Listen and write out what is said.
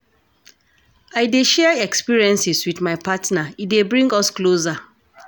I dey share experiences wit my partner, e dey bring us closer.